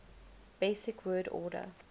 basic word order